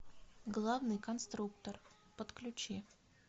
главный конструктор подключи